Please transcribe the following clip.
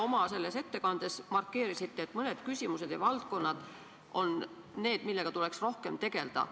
Oma ettekandes markeerisite, et mõned küsimused ja valdkonnad on need, millega tuleks rohkem tegelda.